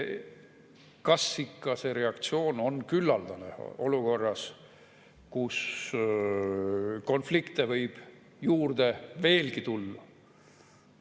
Kas ikka see reaktsioon on küllaldane olukorras, kus konflikte võib veelgi juurde tulla?